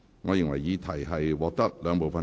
我宣布修正案獲得通過。